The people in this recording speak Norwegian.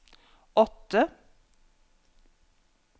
åtte